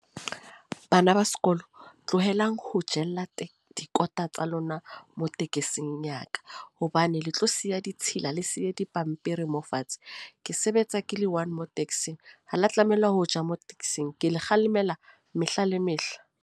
Bana ba sekolo, tlohelang ho jella teng dikota tsa lona mo tekesing ya ka. Hobane le tlo siya ditshila, le siye dipampiri mo fatshe. Ke sebetsa ke le one mo taxi-ng. Ha la tlameha ho ja mo taxi-ng. Ke le kgalemela mehla le mehla.